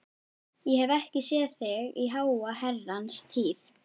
Ég hef ekki séð þig í háa herrans tíð.